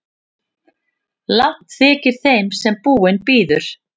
Langt þykir þeim sem búinn bíður.